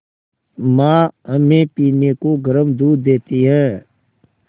माँ हमें पीने को गर्म दूध देती हैं